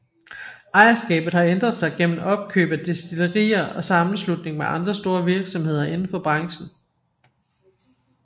Ejerskabet har ændret sig gennem opkøb af destillerier og sammenslutning med andre store virksomheder inden for branchen